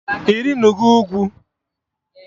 Ị rịnụgo ugwu?